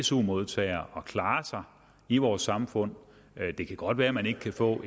su modtager at klare sig i vores samfund det kan godt være at man ikke kan få